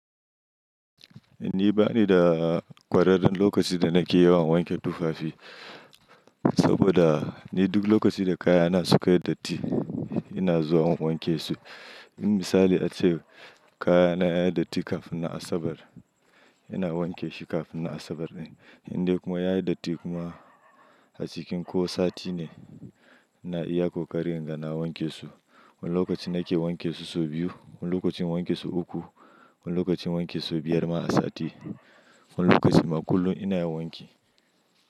Ni bani da ƙwararren lokaci da nake yawan wanke tufafi, saboda ni duk lokacin da kaya na su ka yi datti ina zuwa in wanke su. In misali ace kaya na ya yi datti kafin asabar, ina wanke shi kafin asabar ɗin. Indai kuma ya yi datti kuma a cikin ko sati ne, ina iya koƙarin inga na wanke su. Wani lokaci nake wanke su sau biyu, wani lokacin wanke su uku, wani lokacin wanke su biyar ma a sati. Wani lokaci ma kullum ina yin wanki.